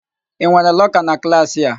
Ị nwere lọka na klaasị a?